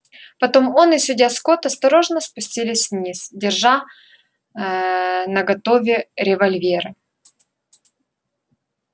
потом он и судья скотт осторожно спустились вниз держа ээ наготове револьверы